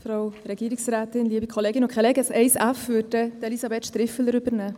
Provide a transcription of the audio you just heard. Zum Antrag 1f wird sich Elisabeth Striffeler äussern.